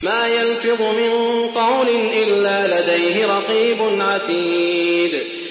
مَّا يَلْفِظُ مِن قَوْلٍ إِلَّا لَدَيْهِ رَقِيبٌ عَتِيدٌ